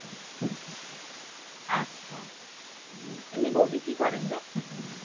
এমনি বৌদি কি করেন রে?